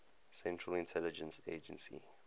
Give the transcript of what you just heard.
central intelligence agency